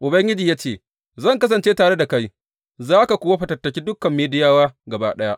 Ubangiji ya ce, Zan kasance tare da kai, za ka kuwa fatattake dukan Midiyawa gaba ɗaya.